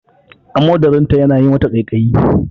Amodarin ta yana yawan yi mata ƙaiƙaiyi